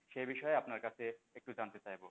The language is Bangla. সেই বিষয়ে আপনার কাছে একটু জানতে চাইবো?